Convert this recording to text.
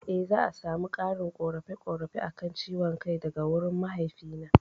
Eh za'a samu ƙarin ƙorafe ƙorafe akan ciwon kai daga wurin mahaifi na